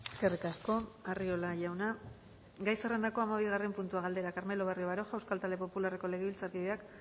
eskerrik asko arriola jauna gai zerrendako hamabigarren puntua galdera carmelo barrio baroja euskal talde popularreko legebiltzarkideak